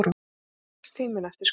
Viðtalstíminn eftir skurðinn.